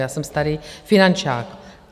Já jsem starý finančák.